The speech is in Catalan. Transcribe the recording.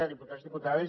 diputats diputades